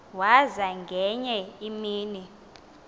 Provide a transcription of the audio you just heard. waza ngenye imini